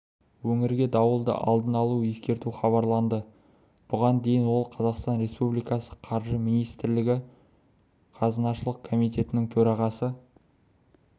өңірге дауылды алдын ала ескерту хабарланды бұған дейін ол қазақстан республикасы қаржы министрлігі қазынашылық қомитетінің төрағасы